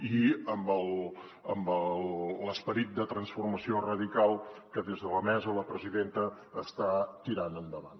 i amb l’esperit de transformació radical que des de la mesa la presidenta està tirant endavant